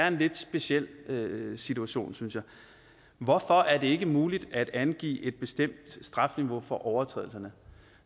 en lidt speciel situation synes jeg hvorfor er det ikke muligt at angive et bestemt strafniveau for overtrædelserne